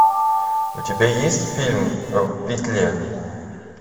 у тебя есть фильм в петле